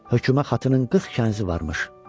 Höküma xatının 40 kənizi varmış.